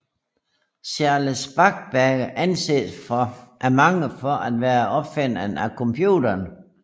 Charles Babbage anses af mange for at være opfinderen af computeren